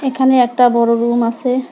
এখানে একটা বড়ো রুম আসে ।